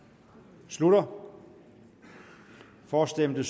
slutter for stemte